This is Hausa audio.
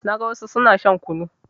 Na ga wassu suna shan kunu